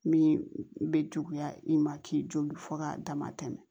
Min bɛ juguya i ma k'i jo k'a dama tɛmɛ